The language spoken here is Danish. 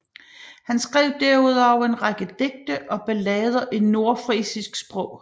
Han skrev derudover en række digte og ballader i nordfrisisk sprog